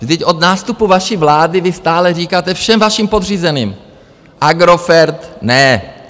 Vždyť od nástupu vaší vlády vy stále říkáte všem vašim podřízeným - Agrofert ne!